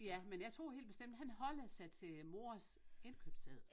Ja men jeg tror helt bestemt han holder sig til mors indkøbsseddel